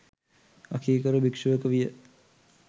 අකීකරු භික්‍ෂුවක විය.